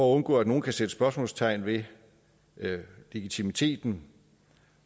undgå at nogen kan sætte spørgsmålstegn ved legitimiteten